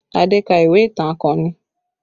Adé ka ìwé ìtàn akọni